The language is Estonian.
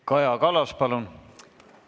Kaja Kallas, palun!